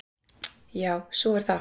Já, svo er það.